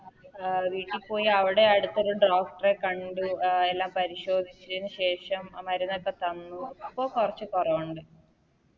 അഹ് വീട്ടി പോയി അവിടെ അടുത്തൊരു Doctor എ കണ്ടു എല്ലാം പരിശോധിച്ചതിനു ശേഷം മരുന്നൊക്കെ തന്നു പ്പോ കൊറച്ച് കൊറവുണ്ട്